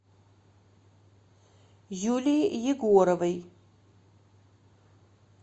юлии егоровой